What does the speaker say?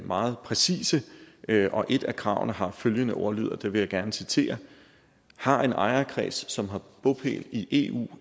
meget præcise og et af kravene har følgende ordlyd og det vil jeg gerne citere har en ejerkreds som har bopæl i eu